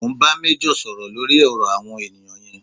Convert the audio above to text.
Mo ń bá méjọ̀ sọ̀rọ̀ lórí ọ̀rọ̀ àwọn ènìyàn yẹn